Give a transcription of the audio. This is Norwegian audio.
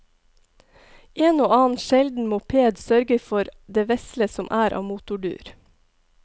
En og annen sjelden moped sørger for det vesle som er av motordur.